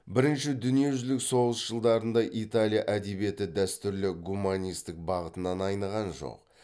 бірінші дүниежүзілік соғыс жылдарында италия әдебиеті дәстүрлі гуманистік бағытынан айныған жоқ